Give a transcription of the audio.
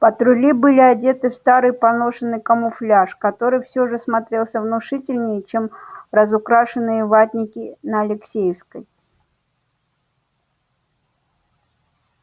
патрули были одеты в старый поношенный камуфляж который всё же смотрелся внушительней чем разукрашенные ватники на алексеевской